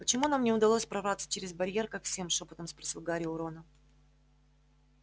почему нам не удалось прорваться через барьер как всем шёпотом спросил гарри у рона